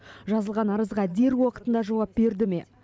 жазылған арызға дер уақытында жауап берді ме